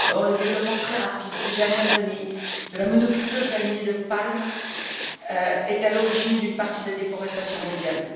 Or, le développement très rapide, ces dernières années, de la monoculture du palmier à huile est à l'origine d'une partie de la déforestation mondiale.